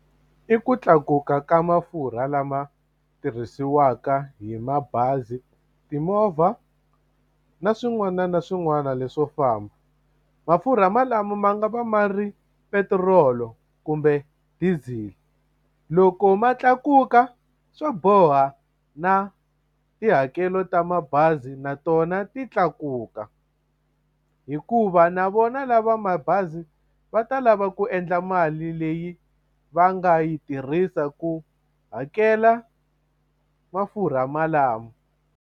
I ku tlakuka ka mafurha lama tirhisiwaka hi mabazi timovha na swin'wana na swin'wana leswo famba mafurha malamo ma nga va ma ri petirolo kumbe diesel loko ma tlakuka swo boha na tihakelo ta mabazi na tona ti tlakuka hikuva na vona lava mabazi va ta lava ku endla mali leyi va nga yi tirhisa ku hakela mafurha malamo.